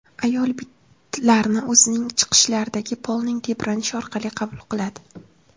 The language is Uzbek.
Ayol bitlarni o‘zining chiqishlaridagi polning tebranishi orqali qabul qiladi.